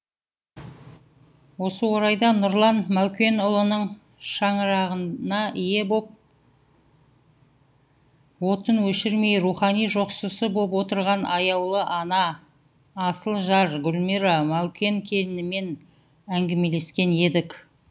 осы орайда нұрлан мәукенұлының шаңырағына ие боп отын өшірмей рухани жоқшысы боп отырған аяулы ана асыл жар гүлмира мәукенкелінімен әңгімелескен едік